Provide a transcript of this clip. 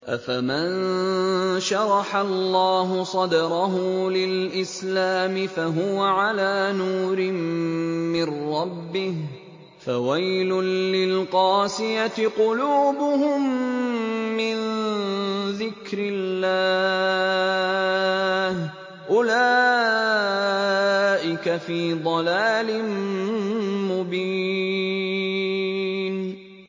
أَفَمَن شَرَحَ اللَّهُ صَدْرَهُ لِلْإِسْلَامِ فَهُوَ عَلَىٰ نُورٍ مِّن رَّبِّهِ ۚ فَوَيْلٌ لِّلْقَاسِيَةِ قُلُوبُهُم مِّن ذِكْرِ اللَّهِ ۚ أُولَٰئِكَ فِي ضَلَالٍ مُّبِينٍ